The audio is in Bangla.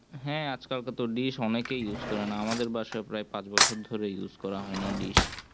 হ্যাঁ আজকাল তো dish অনেকেই use করে না আমাদের বাসায় প্রায় পাঁচ বছর ধরে কেউ use করে না dish